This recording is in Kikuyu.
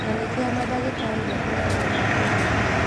Na nĩkĩo mandagĩtarĩ maheagwo mweke wa mbere